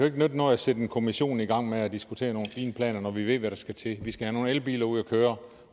ikke nytte noget at sætte en kommission i gang med at diskutere nogle fine planer når vi ved hvad der skal til vi skal have nogle elbiler ud at køre